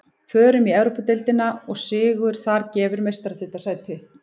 Förum í Evrópudeildina og sigur þar gefur Meistaradeildarsæti.